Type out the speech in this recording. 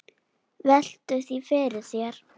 Veltu því fyrir þér.